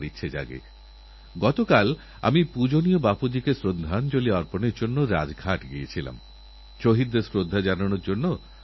আমরা সবাইজানি কিছুদিনের মধ্যেই বিশ্বখেলাধুলোর ক্ষেত্রে সবথেকে বড় ক্রীড়ার মহাকুম্ভ আয়োজিতহতে চলেছে